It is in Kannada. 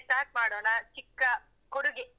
Start ಮಾಡೋಣಾ ಚಿಕ್ಕ ಕೊಡುಗೆ.